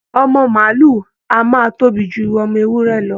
Ọmọ màálù a máa tóbi ju ọmọ ewúrẹ́ lọ